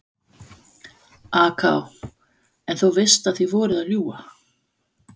AK: En þú veist að þið voruð að ljúga?